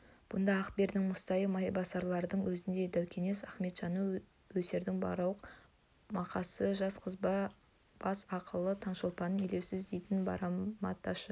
бұнда ақбердінің мұсатайы майбасардың өзіндей даукес ақметжаны өсердің бақырауық мақасы жас қызба бас ақылы таңшолпаннан елеусіз дейтін барымташы